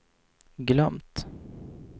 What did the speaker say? glömt